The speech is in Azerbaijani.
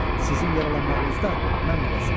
Sizin yaralanmağınızda mən müqəssirəm.